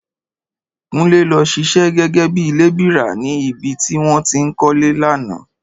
Kúnlé lọ ṣiṣẹ́ gẹ́gẹ́ bí lébìrà ni ibi tí wọ́n ti ń kọ́lé lánàá